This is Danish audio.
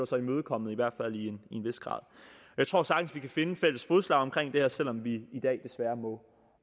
sig imødekommet i hvert fald i en vis grad jeg tror sagtens at vi kan finde fælles fodslag omkring det her selv om vi i dag desværre må